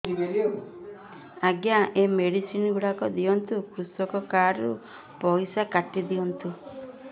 ଆଜ୍ଞା ଏ ମେଡିସିନ ଗୁଡା ଦିଅନ୍ତୁ କୃଷକ କାର୍ଡ ରୁ ପଇସା କାଟିଦିଅନ୍ତୁ